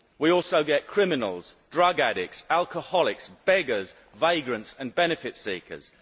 We also get criminals, drug addicts, alcoholics, beggars, vagrants and benefit seekers.